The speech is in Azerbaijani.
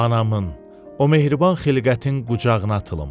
Anamın, o mehriban xilqətin qucağına atılım.